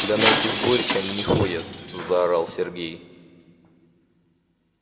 да на эти сборища они не ходят заорал сергей